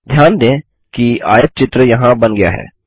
ध्यान दें कि आयतचित्र यहाँ बन गया है